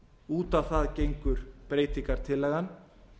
út á það gengur breytingartillagan